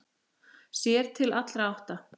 Sér til allra átta.